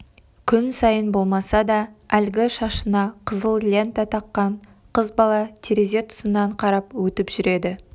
күн сайын болмаса да әлгі шашына қызыл лента таққан қыз бала терезе тұсынан қарап өтіп жүреді